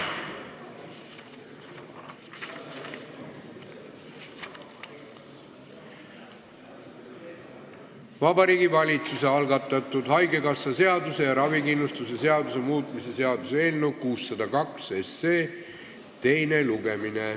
Jätkame Vabariigi Valitsuse algatatud Eesti Haigekassa seaduse ja ravikindlustuse seaduse muutmise seaduse eelnõu 602 teist lugemist.